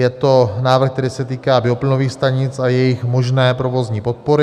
Je to návrh, který se týká bioplynových stanic a jejich možné provozní podpory.